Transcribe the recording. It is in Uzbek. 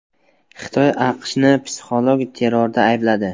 Xitoy AQShni psixologik terrorda aybladi.